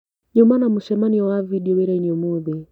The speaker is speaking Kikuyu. Nyuma na mũcemanio wa vindeo wĩrainĩ ũmũthĩ.